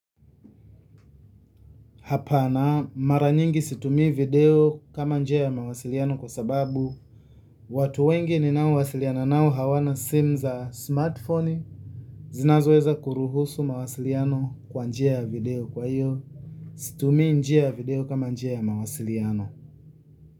Hapana mara nyingi situmii video kama njia ya mawasiliano kwa sababu watu wengi ni nao wasiliana nao hawana simu za smartphone zinazo weza kuruhusu mawasiliano kwa njia ya video kwa hiyo situmii njia ya video kama njia ya mawasiliano.